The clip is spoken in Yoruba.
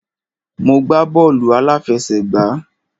Mo gbá bọ́ọ̀lù àláfẹsẹ̀gbá.